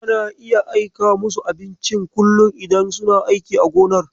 Tana dai aika musu da abincin kullum idan suna aiki a gonar.